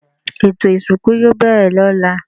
Ètò ìsìnkú yoo bẹ̀rẹ̀ ló̩la